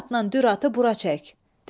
Qıratla Düratı bura çək.